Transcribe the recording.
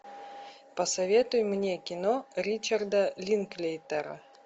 посоветуй мне кино ричарда линклейтера